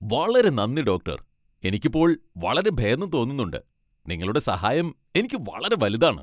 വളരെ നന്ദി, ഡോക്ടർ! എനിക്ക് ഇപ്പോൾ വളരെ ഭേദം തോന്നുന്നുണ്ട്. നിങ്ങളുടെ സഹായം എനിക്ക് വളരെ വലുതാണ്.